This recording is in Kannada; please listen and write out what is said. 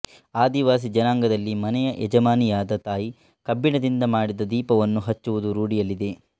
ಆದಿವಾಸಿ ಜನಾಂಗದಲ್ಲಿ ಮನೆಯ ಯಜಮಾನಿಯಾದ ತಾಯಿ ಕಬ್ಬಿಣದಿಂದ ಮಾಡಿದ ದೀಪವನ್ನು ಹಚ್ಚುವುದು ರೂಢಿಯಲ್ಲಿದೆ